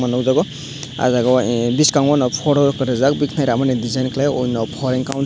nukjago aw jaaga o ahh bwskango no foro katajak bwkhani ramani design klai onno hor.